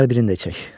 Gəl birini də çək.